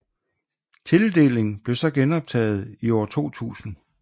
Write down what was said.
Tildeling blev så genoptaget i 2000